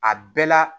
A bɛɛ la